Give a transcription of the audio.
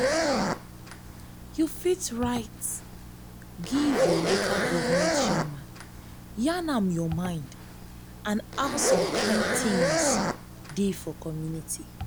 you fit write give your local goverment chairman yarn am your mind and how some kind things dey for community